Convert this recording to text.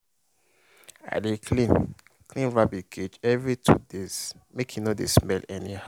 i dey clean clean rabbit cage every two days make e no dey smell anyhow.